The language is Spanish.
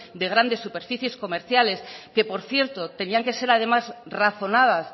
de grandes superficies comerciales que por cierto tenían que ser además razonadas